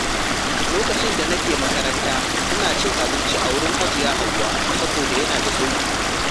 Lokacin da nake makaranta, ina cin abinci a wurin Hajiya Hauwa saboda yana da sauƙi.